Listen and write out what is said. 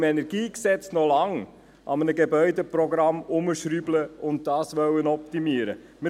Wir können im Kantonalen Energiegesetz (KEnG) noch lange an einem Gebäudeprogramm herumschrauben und dieses optimieren wollen.